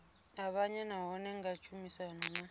avhanya nahone nga tshumisano na